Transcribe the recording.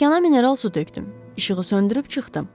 Stəkana mineral su tökdüm, işığı söndürüb çıxdım.